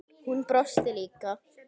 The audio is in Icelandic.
Hún brosti líka.